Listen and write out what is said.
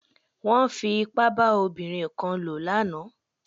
Wọ́n fi ipá bá ọmọbìnrin kan lò lánàá.